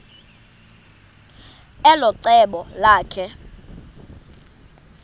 elo cebo lakhe